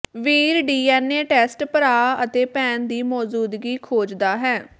ਵੀਰ DNA test ਭਰਾ ਅਤੇ ਭੈਣ ਦੀ ਮੌਜੂਦਗੀ ਖੋਜਦਾ ਹੈ